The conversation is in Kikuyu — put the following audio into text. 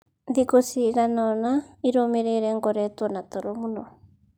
Thikũ ciigana ũna irũmĩrĩire ngoretwo na toro mũno.